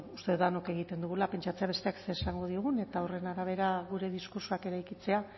uste dut denok egiten dugula pentsatzea besteak zer esango digun eta horren arabera gure diskurtsoak eraikitzea